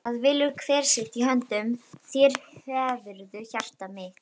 það velur hver sitt- í höndum þér hefurðu hjarta mitt.